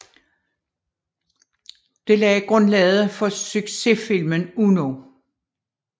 Det lagde grundlaget for sucsessfilmen Uno